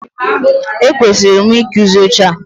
E kwesịrị m ị kụzi oche a.